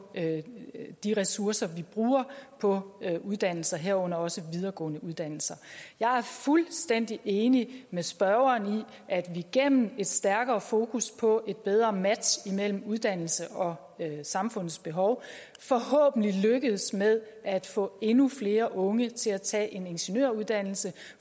de ressourcer vi bruger på uddannelser herunder også videregående uddannelser jeg er fuldstændig enig med spørgeren i at vi gennem et stærkere fokus på et bedre match mellem uddannelse og samfundets behov forhåbentlig lykkes med at få endnu flere unge til at tage en ingeniøruddannelse